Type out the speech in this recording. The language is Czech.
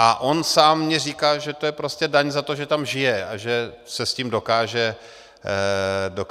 A on sám mi říká, že to je prostě daň za to, že tam žije a že se s tím dokáže sžít.